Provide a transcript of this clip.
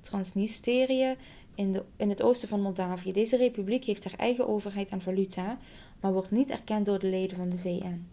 transnistrië in het oosten van moldavië deze republiek heeft haar eigen overheid en valuta maar wordt niet erkend door de leden van de vn